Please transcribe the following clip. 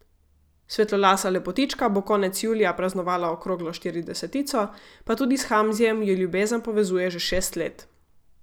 Svetlolasa lepotička bo konec julija praznovala okroglo štiridesetico, pa tudi s Hamzijem ju ljubezen povezuje že šest let.